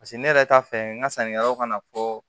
Paseke ne yɛrɛ t'a fɛ n ka sannikɛlaw ka na fɔ